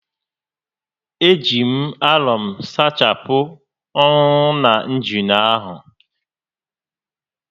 E ji m àlọ̀m sachapụ ọ́nụ́nọ́ na njina áhụ̀